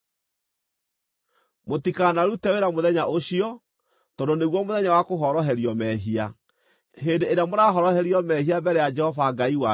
Mũtikanarute wĩra mũthenya ũcio, tondũ nĩguo Mũthenya wa Kũhoroherio Mehia, hĩndĩ ĩrĩa mũrahoroherio mehia mbere ya Jehova-Ngai wanyu.